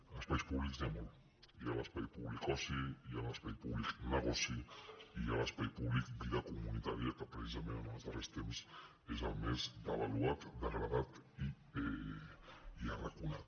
d’espais públics n’hi ha molts hi ha l’espai públic oci hi ha l’espai públic negoci i hi ha l’espai públic vida comunitària que precisament en els darrers temps és el més devaluat degradat i arraconat